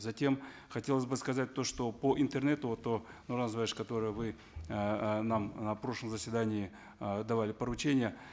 затем хотелось бы сказать то что по интернету вот по нурлан которое вы эээ нам на прошлом заседании э давали поручение